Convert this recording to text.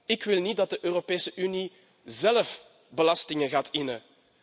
Ik wil niet dat de Europese Unie zelf belastingen gaat innen.